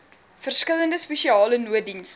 verskillende spesiale nooddienste